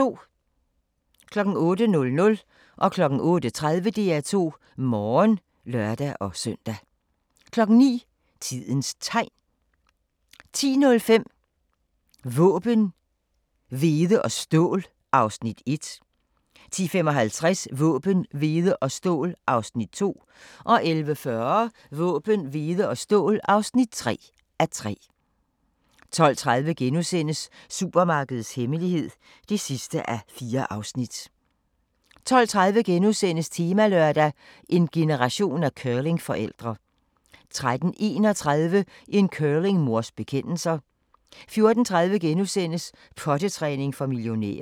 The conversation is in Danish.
08:00: DR2 Morgen (lør-søn) 08:30: DR2 Morgen (lør-søn) 09:00: Tidens Tegn 10:05: Våben, hvede og stål (1:3) 10:55: Våben, hvede og stål (2:3) 11:40: Våben, hvede og stål (3:3) 12:30: Supermarkedets hemmelighed (4:4)* 13:30: Temalørdag: En generation af curlingforældre * 13:31: En curlingmors bekendelser 14:30: Pottetræning for millioner *